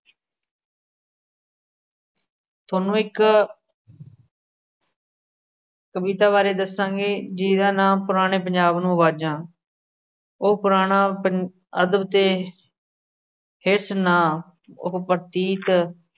ਥੋਨੂੰ ਇੱਕ ਕਵਿਤਾ ਬਾਰੇ ਦੱਸਾਂਗੇ। ਜੀਦਾ ਨਾਮ, ਪੁਰਾਣੇ ਪੰਜਾਬ ਨੂੰ ਆਵਾਜ਼ਾ, ਉਹ ਪੁਰਾਣਾ ਪੰ ਅਦਬ ਤੇ ਹਿਸ ਨਾਂ ਓਹੋ ਪ੍ਰਤੀਕ